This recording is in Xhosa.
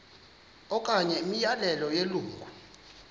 okanye imiyalelo yelungu